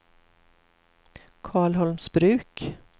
Karlholmsbruk